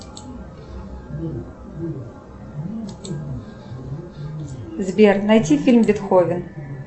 сбер найти фильм бетховен